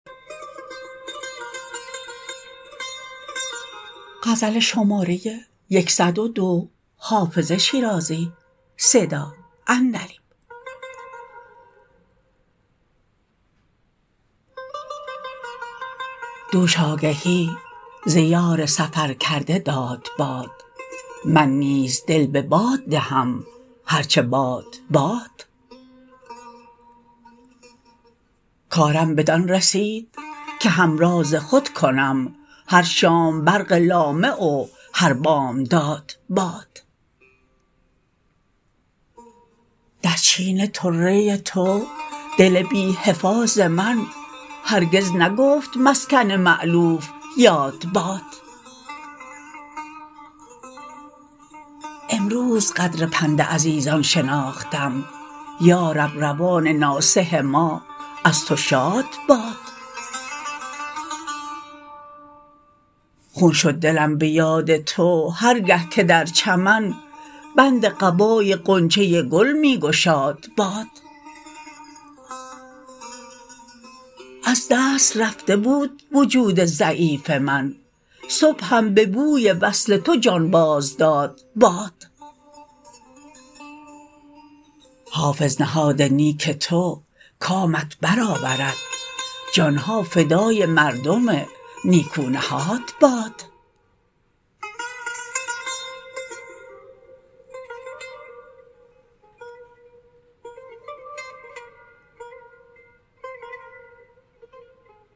دوش آگهی ز یار سفر کرده داد باد من نیز دل به باد دهم هر چه باد باد کارم بدان رسید که همراز خود کنم هر شام برق لامع و هر بامداد باد در چین طره تو دل بی حفاظ من هرگز نگفت مسکن مألوف یاد باد امروز قدر پند عزیزان شناختم یا رب روان ناصح ما از تو شاد باد خون شد دلم به یاد تو هر گه که در چمن بند قبای غنچه گل می گشاد باد از دست رفته بود وجود ضعیف من صبحم به بوی وصل تو جان باز داد باد حافظ نهاد نیک تو کامت بر آورد جان ها فدای مردم نیکو نهاد باد